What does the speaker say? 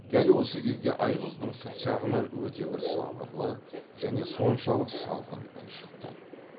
дәл осы кезде айғыздың сырт жағынан өте бір сабырлы және соншалық салқын үн шықты